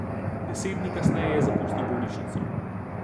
Deset dni kasneje je zapustil bolnišnico.